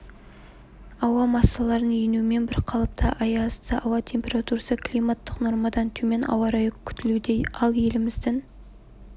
ауа массаларының енуімен бірқалыпты аязды ауа температурасы климаттық нормадан төмен ауа-райы күтілуде ал еліміздің